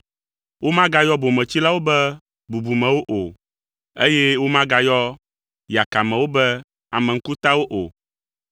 Womagayɔ bometsilawo be bubumewo, eye womagayɔ yakamewo be ame ŋkutawo o,